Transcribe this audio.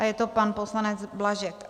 A je to pan poslanec Blažek.